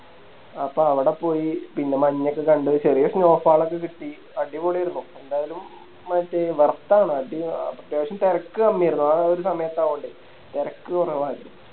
അപ്പൊ അവിടെ പോയി പിന്നെ മഞ്ഞൊക്കെ കണ്ട് ചെറിയെ Snow fall ഒക്കെ കിട്ടി അടിപൊളിയാരുന്നു എന്തായാലും മറ്റേ Worth ആണ് അടി അത്യാവശ്യം തെരക്ക് കമ്മിയാരുന്നു ആ ഒര് സമയത്തായകോണ്ടേയ് തെരക്ക് കൊറവരുന്നു